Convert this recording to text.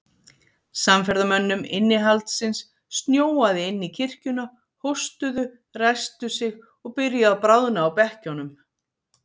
Samferðamönnum innihaldsins snjóaði inn í kirkjuna, hóstuðu, ræsktu sig og byrjuðu að bráðna á bekkjunum.